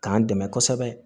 K'an dɛmɛ kosɛbɛ